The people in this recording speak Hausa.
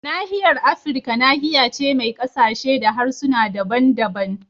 Nahiyar Afirka nahiya ce mai kasashe da harsuna daban-daban